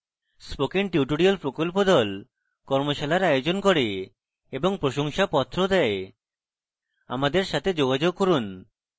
spoken tutorial প্রকল্প the কর্মশালার আয়োজন করে এবং প্রশংসাপত্র the আমাদের সাথে যোগাযোগ করুন